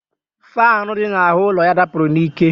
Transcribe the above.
Faanụ dị n'ahụ ụlọ ya dapụrụ n'ike